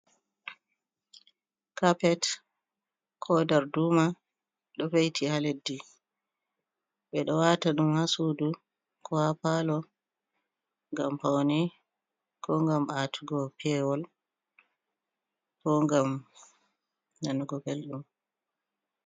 Kapet ko darduma ɗo ve'iti ha leddi ɓeɗo wata ɗum ha sudu ko ha palo ngam paune, ko ngam atugo pewol, ko ngam nanugo belɗum.